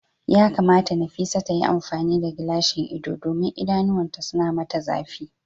yakamata Nafisat ta yi amfani da gilashin ido domin idanuwanta suna mata zafi.